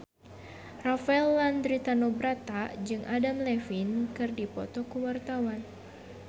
Rafael Landry Tanubrata jeung Adam Levine keur dipoto ku wartawan